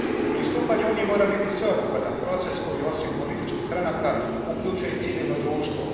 Pristupanje Uniji mora biti sveobuhvatan proces koji osim političkih stranaka uključuje i civilno društvo.